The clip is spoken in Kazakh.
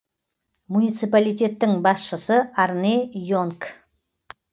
муниципалитеттің басшысы арне йенк